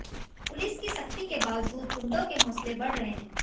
police की सख्ती के बावजूद गुंडों के हौसले बढ़ रहे हैं